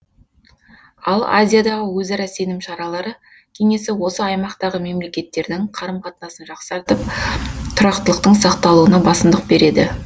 ал азиядағы өзара сенім шаралары кеңесі осы аймақтағы мемлекеттердің қарым қатынасын жақсартып тұрақтылықтың сақталуына басымдық береді